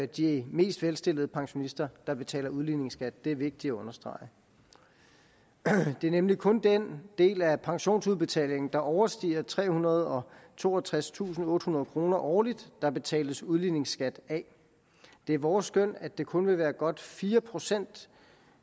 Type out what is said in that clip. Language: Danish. de mest velstillede pensionister der betaler udligningsskat det er vigtigt at understrege det er nemlig kun den del af pensionsudbetalingen der overstiger trehundrede og toogtredstusindottehundrede kroner årligt der betales udligningsskat af det er vores skøn at det kun vil være godt fire procent